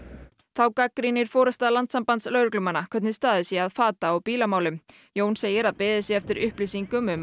þá gagnrýnir forysta Landssambands lögreglumanna hvernig staðið sé að fata og bílamálum Jón segir að beðið sé eftir upplýsingum um